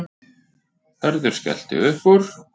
Hörður skellti upp úr.